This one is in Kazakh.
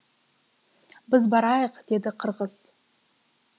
біз барайық деді қырғыз